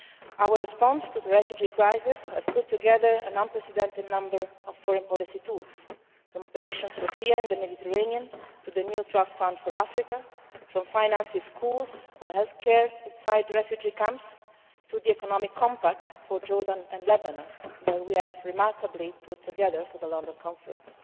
Our response to the refugee crisis has put together an unprecedented number of foreign policy tools, from operation Sophia in the Mediterranean to the new trust fund for Africa, from financing schools or health care inside the refugee camps to the economic compact for Jordan and Lebanon, which we remarkably put together for the London conference.